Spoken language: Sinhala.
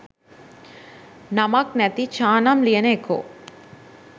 නමක් නැති චානම් ලියන එකෝ.